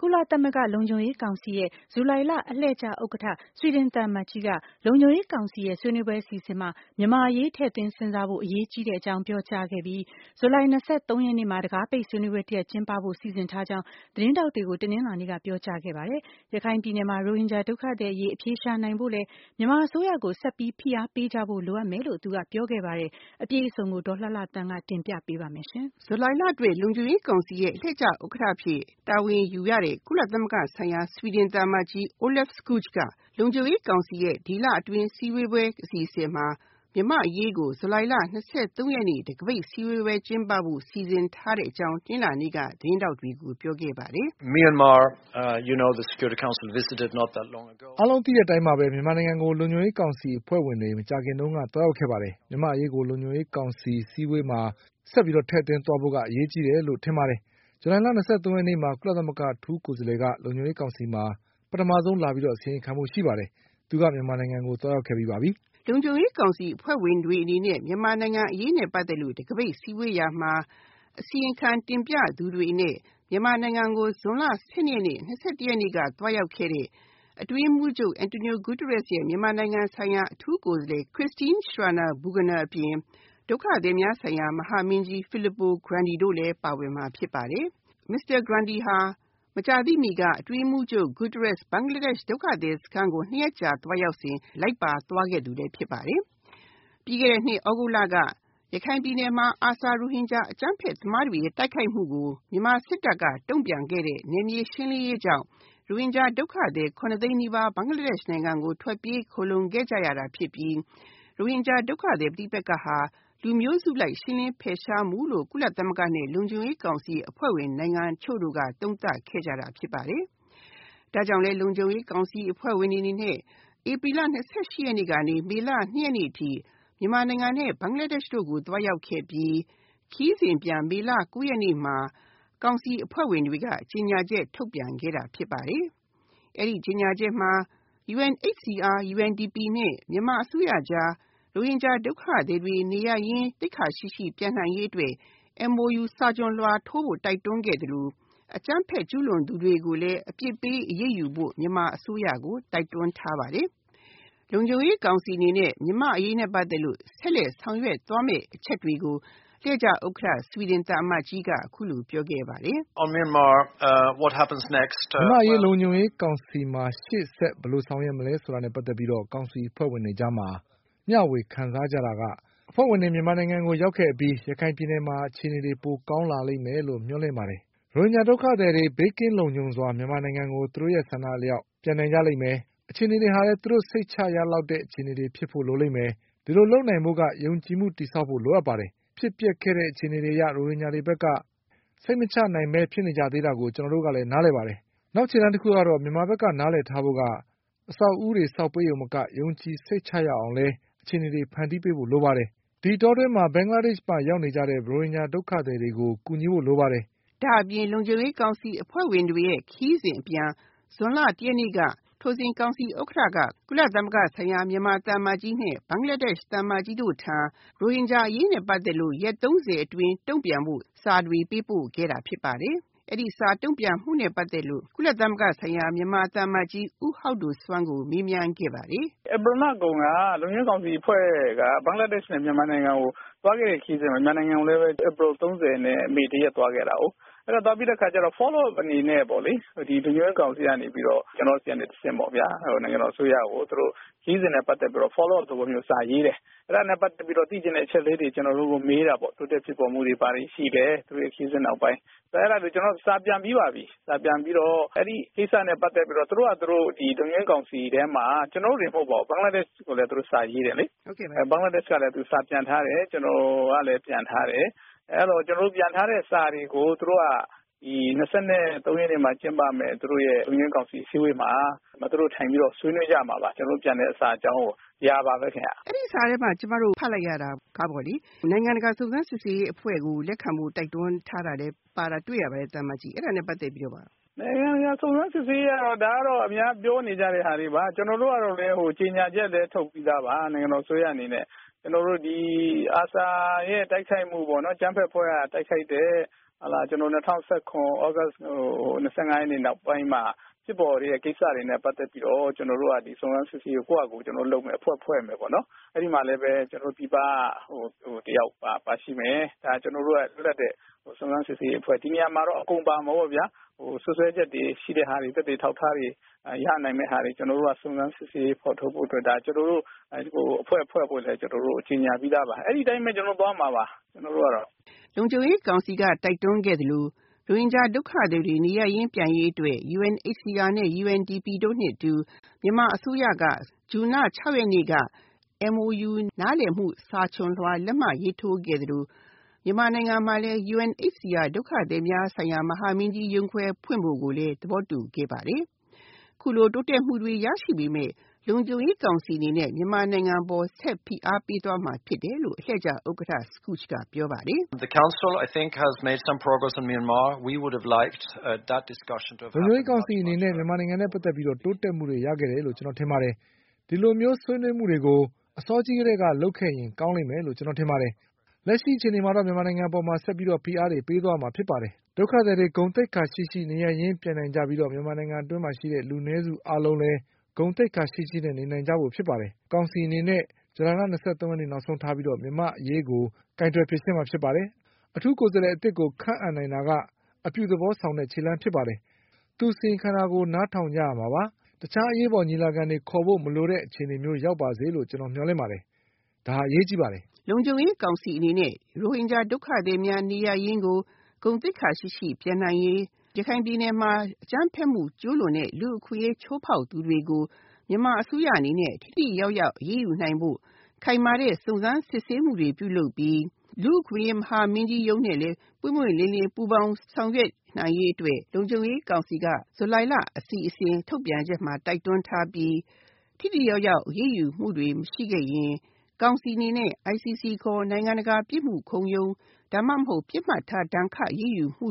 ကုလသမဂ္ဂလုံခြုံရေးကောင်စီရဲ့ ဇူလိုင်လအလှည့်ကျဥက္ကဋ္ဌ ဆွီဒင်သံအမတ်ကြီးကကုလသမဂ္ဂလုံခြုံရေးကောင်စီရဲ့ဆွေးနွေးပွဲအစီအစဉ်မှာ မြန်မာအရေးထည့်သွင်းစဉ်းစားဖို့ အရေးကြီးတဲ့အကြောင်း ပြောခဲ့ပြီး ဇူလိုင်၂၃ ရက်နေ့မှာ တံခါးပိတ်ဆွေးနွေးပွဲတရပ်ကျင်းပဖို့ စီစဉ်ထားကြောင်း သတင်းထောက်တွေကို ပြောခဲ့ပါတယ်။ ရခိုင်ပြည်နယ်မှာတော့ ရိုဟင်ဂျာဒုက္ခသည်အရေးအဖြေရှာနိုင်ဖို့ မြန်မာအစိုးရကို ဆက်ပြီး ဖိအားပေးဖို့ လိုမယ်လို့ ပြောခဲ့ပါတယ်။ အပြည့်အစုံကို ဒေါ်လှလှသန်းကတင်ပြပေးမှာပါ။ ဇူလိုင်လအတွက် လုံခြုံရေးကောင်စီရဲ့အလှည့်ကျဥက္ကဋ္ဌ အဖြစ်တာဝန်ယူရတဲ့ ကုလသမဂ္ဂဆိုင်ရာ ဆွီဒင်သံအမတ်ကြီးOlof Skoog က လုံခြုံရေးကောင်စီရဲ့ဒီလ အစည်းအဝေးပွဲအစီအစဉ်မှာ မြန်မာအရေးကို ဇူလိုင်၂၃ ရက်နေ့မှာတံခါးပိတ် အစည်းအဝေးပွဲကျင်းပဖို့ စီစဉ်ထားကြောင်း တနင်္လာနေ့က သတင်းထောက်တွေကို ပြောခဲ့ပါတယ်။ “အားလုံးသိတဲ့အတိုင်းပါပဲမြန်မာနိုင်ငံကို ကုလသမဂ္ဂလုံခြုံရေးကောင်စီအဖွဲ့ဝင်တွေ မကြာခင်တုန်းက သွားရောက်ခဲ့ပါတယ်။ မြန်မာအရေးကို လုံခြုံရေးကောင်စီအစည်းအဝေးပွဲမှာ ဆက်ပြီးတော့ ထည့်သွင်းသွားဖို့ အရေးကြီးတယ်လို့ ထင်ပါတယ်။ ဇူလိုင်၂၃ ရက်နေ့မှာကုလသမဂ္ဂ အထူးကိုယ်စားလှယ်က လုံခြုံရေးကောင်စီမှာ ပထမဆုံးလာပြီးတော့ အစီရင်ခံဖို့ ရှိပါတယ်။ သူကမြန်မာနိုင်ငံကို သွားရောက်ခဲ့ပြီးပါပြီ။” လုံခြုံရေးကောင်စီအဖွဲ့ဝင်တွေအနေနဲ့ မြန်မာအရေးနဲ့ ပတ်သက်လို့ တံခါးပိတ် စည်းဝေးရာမှာ အစီရင်ခံတင်ပြသူတွေအနေနဲ့ မြန်မာနိုင်ငံကို ဇွန်လ ၁၂ ရက်နေ့ နဲ့ ၂၁ ရက်နေ့က သွားရောက်ခဲ့တဲ့ ကုလသမဂ္ဂအတွင်းရေးမှူးချုပ် António Guterres ရဲ့ မြန်မာနိုင်ငံဆိုင်ရာ အထူးအကြံပေးပုဂ္ဂိုလ် Christine Schraner Burgener အပြင် ဒုက္ခသည်များဆိုင်ရာ မဟာမင်းကြီး Filippo Grandi လည်းပါဝင်မှာဖြစ်ပါတယ်။ Mr. Grandi ဟာ မကြာသေးမီက ကုလသမဂ္ဂအတွင်းရေးမှူးချုပ် António Guterres ဘင်္ဂလားဒေ့ရှ်ဒုက္ခသည်စခန်းကို ၂ ရက်ကြာသွားရောက်စဉ် လိုက်ပါသွားသူလည်းဖြစ်ပါတယ်။ ပြီးခဲ့တဲ့နှစ် သြဂုတ်လက ရခိုင်ပြည်နယ်မှာ ARSA ရိုဟင်ဂျာအကြမ်းဖက်သမားတွေရဲ့ တိုက်ခိုက်မှုကို မြန်မာစစ်တပ်က တုံ့ပြန်ခဲ့တဲ့ နယ်မြေရှင်းလင်းရေးကြောင့် ရိုဟင်ဂျာဒုက္ခသည် ၇ သိန်းနီးပါး ဘင်္ဂလားဒေ့ရှ်နိုင်ငံကို ထွက်ပြေးခိုလုံခဲ့ရတာဖြစ်ပြီး ရိုဟင်ဂျာဒုက္ခသည် ပဋိပက္ခဟာ လူမျိုးစုလိုက်ရှင်းလင်းဖယ်ရှားမှုလို့ ကုလသမဂ္ဂနဲ့ လုံခြုံရေးကောင်စီအဖွဲ့ဝင်နိုင်ငံအချို့က သုံးသပ်ခဲ့တာဖြစ်ပါတယ်။ ဒါကြောင့် လုံခြုံရေးကောင်စီအဖွဲ့ဝင်တွေအနေနဲ့ ဧပြီလ ၂၈ ရက်ကနေ မေလ ၂ ရက်နေ့အထိ မြန်မာနိုင်ငံနဲ့ ဘင်္ဂလားဒေ့ရှ်တို့ကို သွားရောက်ခဲ့ပြီး ခရီးစဉ်အပြန် မေလ ၉ ရက်နေ့မှာ ကောင်စီအဖွဲ့ဝင်နိုင်ငံတွေက ကြေညာချက်ထုတ်ပြန်ခဲ့တာဖြစ်ပါတယ်။ အဲဒီကြေညာချက်မှာ UNHCR ၊ UNDP နဲ့ မြန်မာအစိုးရအကြား ရိုဟင်ဂျာဒုက္ခသည်တွေနေရပ်ရင်း သိက္ခာရှိရှိပြန်နိုင်ရေးအတွက် MOU စာချွန်လွှာထိုးဖို့ တိုက်တွန်း ခဲ့သလို အကြမ်းဖက်ကျူးလွန်သူတွေကိုလည်း အပြစ်ပေးအရေးယူဖို့ မြန်မာအစိုးရကို တိုက်တွန်းထားပါတယ်။ ကုလသမဂ္ဂလုံခြုံရေးကောင်စီအနေနဲ့ မြန်မာ့အရေးနဲ့ ပတ်သက်လို့ ဆက်လက် ဆောင်ရွက်သွားမယ့်အချက်တွေကို အလှည့်ကျဥက္ကဋ္ဌ အဖြစ်တာဝန်ယူရတဲ့ ကုလသမဂ္ဂဆိုင်ရာ ဆွီဒင်သံအမတ်ကြီးက အခုလိုပြောခဲ့ပါတယ်။ “မြန်မာအရေး လုံခြုံရေးကောင်စီမှာ ရှေ့ဆက်ဘယ်လိုဆောင်ရွက်မလဲဆိုတာနဲ့ ပတ်သက်ပြီး ကောင်စီအဖွဲ့ဝင်တွေကြားမှာ မျှဝခံစားတာက အဖွဲ့ဝင်တွေမြန်မာနိုင်ငံကို ရောက်ခဲ့အပြီး ရခိုင်ပြည်နယ်မှာ အခြေအနေတွေပိုကောင်းလာလိမ့်မယ်လို့ မျှော်လင့်ပါတယ်။ ရိုဟင်ဂျာဒုက္ခသည်တွေ ဘေးကင်းလုံခြုံစွာ မြန်မာနိုင်ငံကို သူတို့ဆန္ဒအလောက် ပြန်နိုင်လိမ့်မယ် ၊ အခြေအနေတွေဟာလည်း သူတို့ စိတ်ချရလောက်တဲ့ အခြေအနေတွေဖြစ်ဖို့ လိုလိမ့်မယ်။ ဒီလိုလုပ်နိုင်ဖို့က ယုံကြည်မှု တည်ဆောက်ဖို့ လိုပါတယ်။ ဖြစ်ပျက်ခဲ့တဲ့ အခြေအနေတွေအရ ရိုဟင်ဂျာတွေဘက်က စိတ်မချနိုင်တာတွေကို ကျနော်တို့က နားလည်ပါတယ်။ နောက်ခြေလှမ်းတခုကတော့ မြန်မာဘက်က နားလည်ထားဖို့က အဆောက်အဦးတွေဆောက်ပေးရုံသာမက ယုံကြည်စိတ်ချရအောင်လည်း အခြေအနေတွေ ဖန်တီးဖို့လိုပါတယ်။ ဒီအတောအတွင်းမှာ ဘင်္ဂလားဒေ့ရှ်မှာရောက်နေကြတဲ့ ရိုဟင်ဂျာဒုက္ခသည်တွေကို ကူညီဖို့လိုပါတယ်။” လုံခြုံရေးကောင်စီအဖွဲ့ဝင်တွေရဲ့ ခရီးစဉ်အပြန် ဇွန်လ ၁ ရက်နေ့က ထိုစဉ် ကောင်စီဥက္ကဋ္ဌကကုလသမဂ္ဂဆိုင်ရာ မြန်မာသံအမတ်ကြီး နဲ့ ဘင်္ဂလားဒေ့ရှ် သံအမတ်ကြီးတို့ထံ ရိုဟင်ဂျာအရေးနဲ့ ပတ်သက်ပြီး ရက် ၃၀ အတွင်းတုံ့ပြန်ဖို့ စာတွေပေးပို့ခဲ့တာဖြစ်ပါတယ်။ အဲဒီစာ တုံ့ပြန်မှုနဲ့ ပတ်သက်လို့ ကုလသမဂ္ဂဆိုင်ရာ မြန်မာသံအမတ်ကြီးဦးဟောက်ဒိုစွမ်ကို မေးခဲ့ပါတယ်။ “ဧပြီလကုန်က လုံခြုံရေးကောင်စီအဖွဲ့က ဘင်္ဂလားဒေ့ရှ်နဲ့ မြန်မာနိုင်ငံကို သွားခဲ့တဲ့ ခရီးစဉ်ကို မြန်မာနိုင်ငံကိုဧပြီ ၃၀ နဲ့ မေ ၁ ရက်သွားခဲ့တာကို ၊ အဲဒါသွားပြီးတော့ Follow up အနေနဲ့ လုံခြုံရေးကောင်စီက ကျနော်ဆီကနေတဆင့် နိုင်ငံတော်အစိုးရကို သူတို့ ခရီးစဉ်နဲ့ ပတ်သက်ပြီးတော့ Follow up သဘောမျိုးစာ ရေးတယ်။ အဲဒါနဲ့ ပတ်သက်ပြီးတော့ သိချင်တဲ့အချက်တွေ ကျနော်တို့ကို မေးတာပေါ့ တိုးတက်ဖြစ်ပေါ်မှုတွေဘာတွေရှိလဲ သူတို့ခရီးစဉ်နောက်ပိုင်း။ ကျနော်ကတော့ စာပြန်ပြီးပါပြီ။ အဲဒါနဲ့ ပတ်သက်ပြီးတော့ သူတို့ လုံခြုံရေးကောင်စီထဲမှာ ကျနော်တို့တင်မဟုတ်ပါဘူး ဘင်္ဂလားဒေ့ရှ်ကိုလည်း စာရေးတယ်လေ ၊ သူတို့ဘက်ကလည်း စာပြန်တယ်။ ကျနော်လည်း ပြန်ထားတယ်။ အဲဒီလိုပြန်ထားတဲ့စာတွေကို သူတို့က ၂၃ ရက်နေ့မှာ ကျင်းပမဲ့ လုံခြုံရေးကောင်စီအစည်းအဝေးမှာ ထိုင်ပြီးတော့ ဆွေးနွေးမှာပါ။ ကျနော်တို့ပြန်တဲ့ စာကို ဒါပါပဲခင်ဗျ။ မေး။ ။ အဲဒီစာမှာ ကျမတို့ ဖတ်လိုက်ရတာက နိုင်ငံတကာစုံစမ်းစစ်ဆေးရေးအဖွဲ့ကို လက်ခံဖို့ တိုက်တွန်းထားတာလည်းတွေ့လိုက်ရတယ် အဲဒါနဲ့ ပတ်သက်ပြီးတော့ ပြောပြပါ။ ဖြေ။ ။ နိုင်ငံတကာစုံစမ်းစစ်ဆေးရေးကတော့ အများပြောနေကြတာတွေပါ ၊ ကျနော်တို့က ကြေညာချက်လည်းထုတ်ပြီးသားပါ။ နိုင်ငံတော်အစိုးရအနေနဲ့ ကျနော်တို့ဒီ ARSA ရဲ့ တိုက်ခိုက်မှုပေါ့နော် အကြမ်းဖက်အဖွဲ့က တိုက်ခိုက်တဲ့ ၂၀၁၇ သြဂုတ် ၂၅ ရက်နေ့နောက်ပိုင်းမှာ ဖြစ်ပေါ်တဲ့ ကိစ္စတွေနဲ့ ပတ်သက်ပြီးတော့ ကျနော်တို့က စုံစမ်းစစ်ဆေးရေးကို ကျနော်တို့ဟာ ကျနော်တို့လုပ်မယ်အဖွဲ့ဖွဲ့ပြီးတော့ ၊ အဲဒီမှာလည်း ပြည်ပက တယောက်ပါမယ် ဒါကလည်း လွတ်လပ်တဲ့ စုံစမ်းစစ်ဆေးရေးအဖွဲ့။ ဒီနေရာမှာတော့ ပါမှာပေါ့ဗျာ စွပ်စွဲချက်တွေရှိတဲ့ဟာတွေ ၊ အထောက်အထားတွေ ရနိုင်မယ့်ဟာတွေ ကျနော်တို့က စုံစမ်းစစ်ဆေးရေးဖော်ထုတ်ဖို့အတွက် အဖွဲ့ဖွဲ့ဖို့လည်း ကြေညာပြီးသားပါ။ ဒီအတိုင်းပဲ သွားမှာပါ ကျနော်တို့ကတော့။” ကုလသမဂ္ဂလုံခြုံရေးကောင်စီက တိုက်တွန်းခဲ့သလို ရိုဟင်ဂျာဒုက္ခသည်တွေနေရပ်ရင်းပြန်ရေးအတွက် UNHCR ၊ UNDP နဲ့ မြန်မာအစိုးရ က ဇွန်လ ၆ ရက်နေ့က MOU စာချွန်လွှာလက်မှတ်ရေးထိုးခဲ့သလို မြန်မာနိုင်ငံမှာလည်း UNHCR ဒုက္ခသည်များဆိုင်ရာ ကုလသမဂ္ဂ မဟာမင်းကြီးရုံး ဖွင့်ဖို့ သဘောတူခဲ့ပါတယ်။ အခုလိုတိုးတက်မှုတွေရရှိပေမယ့် ကုလသမဂ္ဂလုံခြုံရေးကောင်စီက မြန်မာနိုင်ငံအပေါ် ဆက်ပြီး ဖိအားပေးသွားမှာဖြစ်တယ်လို့ အလှည့်ကျဥက္ကဋ္ဌ Skoog ကပြောပါတယ်။ “ကုလသမဂ္ဂလုံခြုံရေးကောင်စီအနေနဲ့ မြန်မာနိုင်ငံနဲ့ ပတ်သက်ပြီးတော့ တိုးတက်မှုတွေရခဲ့တယ်လို့ ကျနော်ထင်ပါတယ်။ ဒီလိုဆွေးနွေးမှုတွေကို အစောကြီးကတည်းက လုပ်ခဲ့ရင်ကောင်းလိမ့်မယ်လို့ကျနော်ထင်ပါတယ်။ လက်ရှိအခြေအနေမှာတော့ ကုလသမဂ္ဂလုံခြုံရေးကောင်စီက မြန်မာနိုင်ငံအပေါ် ဆက်ပြီး ဖိအားပေးသွားမှာဖြစ်တယ်။ ရိုဟင်ဂျာဒုက္ခသည်တွေ ဂုဏ်သိက္ခာရှိရှိ နေရပ်ရင်းပြန်နိုင်ကြပြီးတော့ မြန်မာနိုင်ငံအတွင်းမှာရှိတဲ့ လူနည်းစုအားလုံးလည်း ဂုဏ်သိက္ခာရှိရှိနေနိုင်ကြဖို့ဖြစ်ပါတယ်။ ကောင်စီအနေနဲ့ ဇူလိုင်လ ၂၃ ရက်နေ့ နောက်ဆုံးထားပြီး မြန်မာ့အရေးကို ကိုင်တွယ်ဖြေရှင်းမှာဖြစ်ပါတယ်။ အထူးကိုယ်စားလှယ်အသစ်ကိုခန့်အပ်နိုင်တာက အပြုသဘောဆောင်တဲ့ ခြေလှမ်းဖြစ်ပါတယ်။ သူအစီရင်ခံတာကို နားထောင်ကြရမှာပါ။ တခြားအရေးပေါ်ညီလာခံတွေခေါ်ဖို့မလိုတဲ့အခြေမျိုးရောက်ပါစေလို့ ကျနော်တို့ မျှော်လင့်ပါတယ် ဒါက အရေးကြီးပါတယ်။” လုံခြုံရေးကောင်စီအနေနဲ့ ရိုဟင်ဂျာဒုက္ခသည်တွေ နေရပ်ရင်းကို ဂုဏ်သိက္ခာရှိရှိ ပြန်နိုင်ရေး ရခိုင်ပြည်နယ်မှာ အကြမ်းဖက်မှု ကျူးလွန်တဲ့ လူ့အခွင့်အရေးချိုးဖောက်သူတွေကို မြန်မာအစိုးရအနေနဲ့ ထိထိရောက်ရောက်အရေးယူနိုင်ဖို့ ခိုင်မာတဲ့ စုံစမ်းစစ်ဆေးမှုတွေ ပြုလုပ်ပြီး လူ့အခွင့်အရေးမဟာမင်းကြီးရုံးနဲ့လည်း ပွင့်ပွင့်လင်းလင်းပူးပေါင်းဆောင်ရွက်နိုင်ရေးအတွက် လုံခြုံရေးကောင်စီက ဇူလိုင်လအစီအစဉ်ထုတ်ပြန်ချက်မှာ တိုက်တွန်းထားပြီး ထိထိရောက်ရောက်အရေးယူမှုတွေရှိခဲ့ရင် ကောင်စီအနေနဲ့ ICC ခေါ် နိုင်ငံတကာပြစ်မှုခုံရုံး ဒါမှမဟုတ် ပစ်မှတ်ထားဒဏ်ခတ်အရေးယူမှု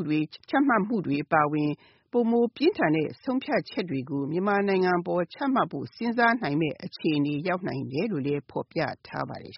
ချမှတ်မှုတွေအပါအဝင် ပိုမိုပြင်းထန်တဲ့ ဆုံးဖြတ်ချက်တွေကို မြန်မာနိုင်ငံအပေါ် ချမှတ်ဖို့ စဉ်းစားနိုင်တဲ့အခြေအနေတွေရောက်နိုင်တယ်လို့ ဖော်ပြထားပါတယ်